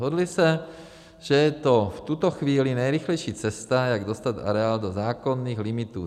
Dohodli se, že je to v tuto chvíli nejrychlejší cesta, jak dostat areál do zákonných limitů.